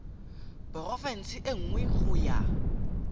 porofense e nngwe go ya